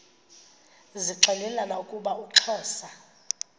zixelelana ukuba uxhosa